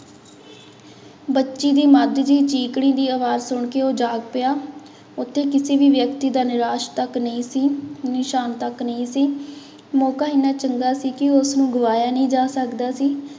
ਬੱਚੀ ਦੀ ਮੱਝ ਦੀ ਚੀਂਕਣੀ ਦੀ ਆਵਾਜ਼ ਸੁਣਕੇ ਉਹ ਜਾਗ ਪਿਆ, ਉੱਥੇ ਕਿਸੇ ਵੀ ਵਿਅਕਤੀ ਦਾ ਨਿਰਾਸ ਤੱਕ ਨਹੀਂ ਸੀ ਨਿਸ਼ਾਨ ਤੱਕ ਨਹੀਂ ਸੀ, ਮੌਕਾ ਇੰਨਾ ਚੰਗਾ ਸੀ ਕਿ ਉਸਨੂੰ ਗਵਾਇਆ ਨਹੀਂ ਜਾ ਸਕਦਾ ਸੀ।